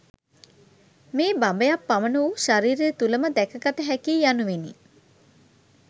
මේ බඹයක් පමණ වූ ශරීරය තුළම දැකගත හැකි යි යනුවෙනි.